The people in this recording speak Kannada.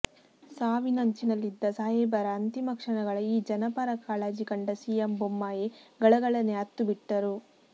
ಸಾವಿನಂಚಿನಲ್ಲಿದ್ದ ಸಾಹೇಬರ ಅಂತಿಮ ಕ್ಷಣಗಳ ಈ ಜನಪರ ಕಾಳಜಿ ಕಂಡ ಸಿಎಂ ಬೊಮ್ಮಾಯಿ ಗಳಗಳನೆ ಅತ್ತುಬಿಟ್ಟರು